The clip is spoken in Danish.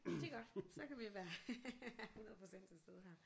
Det er godt så kan vi være 100 procent til stede her